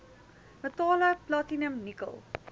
metale platinum nikkel